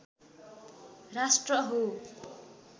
राष्ट्र हो